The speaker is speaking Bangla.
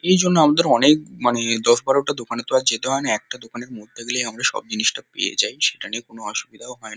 এইজন্য আমাদের অনেক মানে দশ-বারোটা দোকানে তো আর যেতে হয় না। একটা দোকানের মধ্যে গেলেই আমরা সব জিনিসটা পেয়ে যাই। সেটা নিয়ে কোনো অসুবিধাও হয় ন--